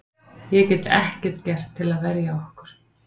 Ég get ekkert gert til að verja okkur.